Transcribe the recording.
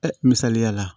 Ɛ misaliliya la